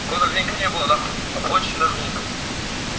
такого давненько не было нахуй очень давненько